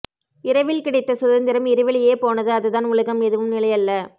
இரவில் கிடைத்த சுதந்திரம் இரவிலேயே போனது அதுதான் உலகம் எதுவும் நிலையல்ல